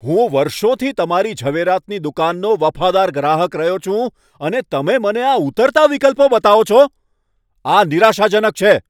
હું વર્ષોથી તમારી ઝવેરાતની દુકાનનો વફાદાર ગ્રાહક રહ્યો છું, અને તમે મને આ ઉતરતા વિકલ્પો બતાવો છો? આ નિરાશાજનક છે.